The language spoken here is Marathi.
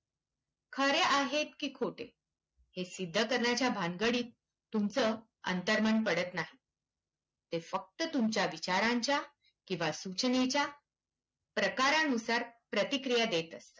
खरे आहेत की खोटे हे सिद्ध करण्याच्या भानगडीत तुमचं अंतर्मन पडत नाही. ते फक्त तुमच्या विचारांच्या किंवा सूचनेच्या प्रकरानुसार प्रतिक्रिया देत असते.